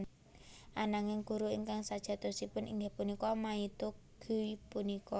Ananging guru ingkang sajatosipun inggih punika maito Guy punika